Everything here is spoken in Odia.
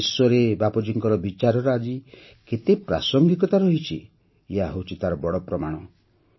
ସାରା ବିଶ୍ୱରେ ବାପୁଜୀଙ୍କର ବିଚାରର ଆଜି ବି କେତେ ପ୍ରାସଙ୍ଗିକତା ରହିଛି ଏହା ହେଉଛି ତାର ଏକ ବଡ଼ ପ୍ରମାଣ